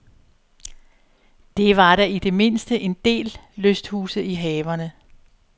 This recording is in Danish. Der var da i det mindste en del lysthuse i haverne.